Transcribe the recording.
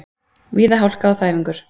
Víða hálka og þæfingur